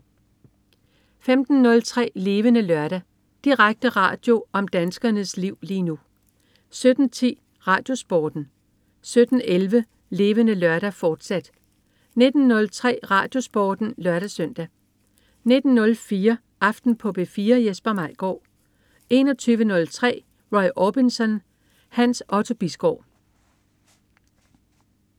15.03 Levende Lørdag. Direkte radio om danskernes liv lige nu 17.10 RadioSporten 17.11 Levende Lørdag, fortsat 19.03 RadioSporten (lør-søn) 19.04 Aften på P4. Jesper Maigaard 21.03 Roy Orbison. Hans Otto Bisgaard